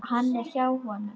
Hann er hjá honum.